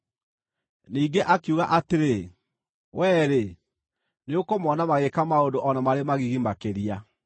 Ningĩ akiuga atĩrĩ, “Wee-rĩ, nĩũkũmona magĩĩka maũndũ o na marĩ magigi makĩria.”